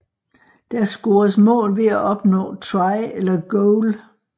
Der scores mål ved at opnå Try eller Goal